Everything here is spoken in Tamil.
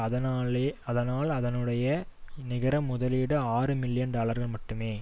அதனாலே அதனால் அதனுடைய நிகர முதலீடு ஆறு மில்லியன் டாலர்கள் மட்டுமே